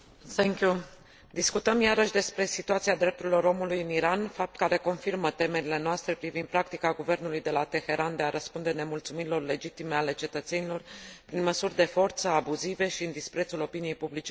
Discutăm iarăși despre situația drepturilor omului în Iran, fapt care confirmă temerile noastre privind practica guvernului de la Teheran de a răspunde nemulțumirilor legitime ale cetățenilor prin măsuri de forță, abuzive și în disprețul opiniei publice internaționale.